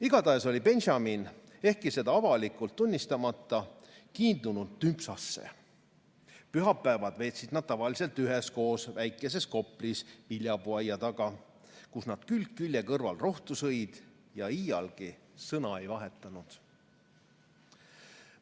Igatahes oli Benjamin, ehkki seda avalikult tunnistamata, kiindunud Tümpsasse; pühapäevad veetsid nad tavaliselt üheskoos väikeses koplis viljapuuaia taga, kus nad külg külje kõrval rohtu sõid ja iial sõna ei vahetanud.